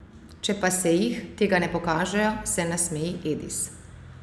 Če pa se jih, tega ne pokažejo, se nasmeji Edis.